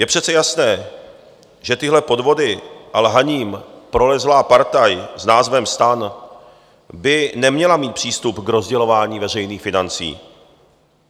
Je přece jasné, že těmihle podvody a lhaním prolezlá partaj s názvem STAN by neměla mít přístup k rozdělování veřejných financí.